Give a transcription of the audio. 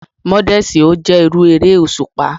Múdèsí o jé irú eré òṣùpá.